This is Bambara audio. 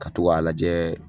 Ka to ga lajɛ